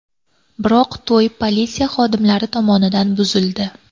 Biroq to‘y politsiya xodimlari tomonidan buzildi .